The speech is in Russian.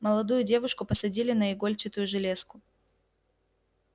молодую девушку посадили на игольчатую железку